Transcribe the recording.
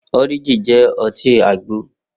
Orijin jẹ́ ọtí àgbo